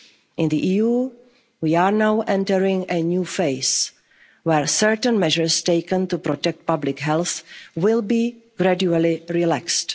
actions. In the EU, we are now entering a new phase where certain measures taken to protect public health will be gradually